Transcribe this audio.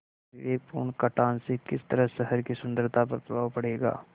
अविवेकपूर्ण कटान से किस तरह शहर की सुन्दरता पर प्रभाव पड़ेगा